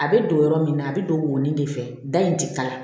A bɛ don yɔrɔ min na a bɛ don woni de fɛ da in tɛ kala